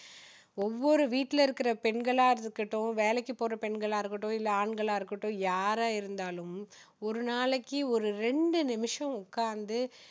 ஒவ்வொரு வீட்டுல இருக்கிற பெண்களா இருக்கட்டும் வேலைக்கு போற பெண்களா இருக்கட்டும் இல்ல ஆண்களா இருக்கட்டும் யாரா இருந்தாலும் இரு நாளைக்கு ஒரு ரெண்டு நிமிஷம் உட்காந்து